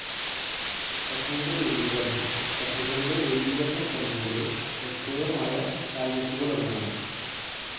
സഭയുടെ രൂപീകരണം സഭകളുടെ ഏകീകരണശ്രമങ്ങളിലെ ശ്രദ്ധേയമായ കാൽവെയ്പ്പുകളൊന്നാണ്.